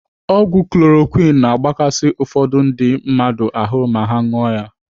Ọgwụ chloroquine na-agbakasi ụfọdụ ndị mmadụ ahụ ma ha ṅụọ ya.